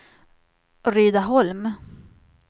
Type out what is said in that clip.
Rydaholm